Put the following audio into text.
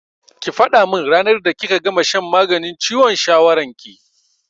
Ki faɗa min ranar da kika gama shan maganin ciwon shawaran ki!